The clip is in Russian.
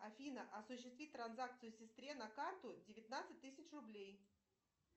афина осуществи транзакцию сестре на карту девятнадцать тысяч рублей